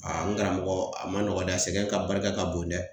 n karamɔgɔ a ma nɔgɔn dɛ, sɛgɛn ka barika ka bon dɛ .